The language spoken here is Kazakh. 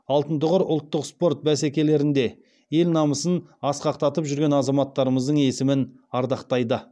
алтын тұғыр ұлттық спорт бәсекелерінде ел намысын асқақтатып жүрген азаматтарымыздың есімін ардақтайды